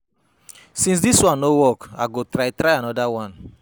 Since dis one no work, I go try try another one.